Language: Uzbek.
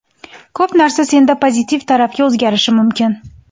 Ko‘p narsa senda pozitiv tarafga o‘zgarishi mumkin.